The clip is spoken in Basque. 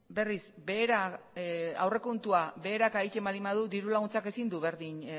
berriz behera aurrekontua beheraka egiten baldin badu dirulaguntzak ezin du berdin